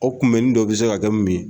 O kuma bɛnnin dɔ bi se ka kɛ mun ?